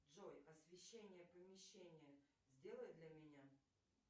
джой освещение помещения сделай для меня